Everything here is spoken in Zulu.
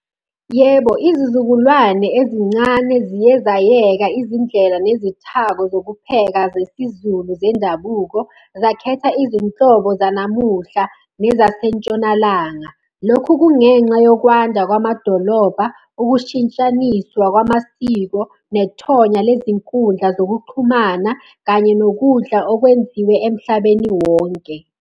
Yebo, izizukulwane ezincane ziye zayeka izindlela nezithako zokupheka zesiZulu zendabuko, zakhetha izinhlobo zanamuhla nezaseNtshonalanga. Lokhu kungenxa yokwanda kwamadolobha, ukushintshaniswa kwamasiko, nethonya lezinkundla zokuxhumana, kanye nokudla okwenziwe emhlabeni wonke.